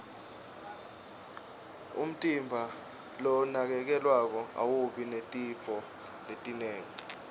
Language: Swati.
umtimba lonakekelwako awubi netifo letinengi